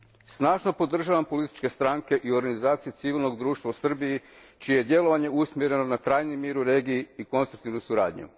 Snažno podržavam političke stranke i organizacije civilnog društva u Srbiji čije je djelovanje usmjereno na trajni mir u regiji i konstruktivnu suradnju.